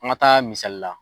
An ka taa misali la